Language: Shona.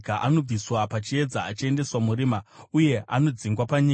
Anobviswa pachiedza achiendeswa murima, uye anodzingwa panyika.